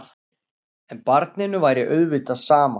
En barninu væri auðvitað sama.